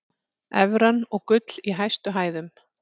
Evran og gull í hæstu hæðum